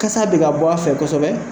Kasa bɛ ka bɔ a fɛ kosɛbɛ.